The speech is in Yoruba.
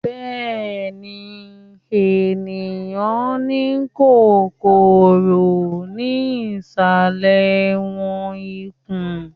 bẹẹni, eniyan ni kòkòrò ni isalẹ wọn ifun.